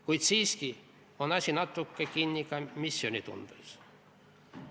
Kuid siiski on asi natuke kinni ka missioonitundes.